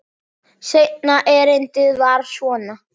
Seinna erindið var svona: